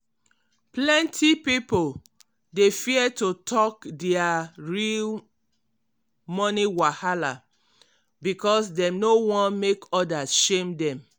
plenty pipo dey fear to talk dia real money wahala because dem no wan make others shame dem.